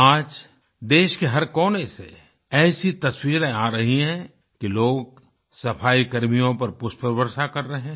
आज देश के हर कोने से ऐसी तस्वीरे आ रही हैं कि लोग सफाईकर्मियों पर पुष्पवर्षा कर रहे हैं